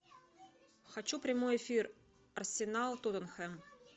хочу прямой эфир арсенал тоттенхэм